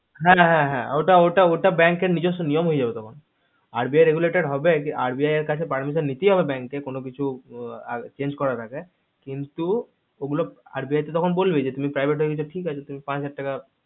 না না হে হে ওটা এর নিজর্স নিয়ম হয়ে যাবে তখন RBI regulated হবে RBI এর কাছে permission নিতেই হবে bank কে কোনো কিছু change করার আগে কিন্তু ওগুলো RBI তো তখন বলবেই তুমি private হয়ে গেছো ঠিক আছে তুমি পাঁচ হাজার টাকা